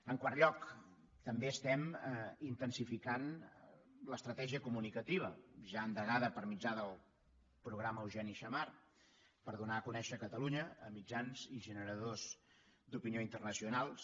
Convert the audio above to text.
en quart lloc també estem intensificant l’estratègia comunicativa ja endegada per mitjà del programa eugeni xammar per donar a conèixer catalunya a mitjans i generadors d’opinió internacionals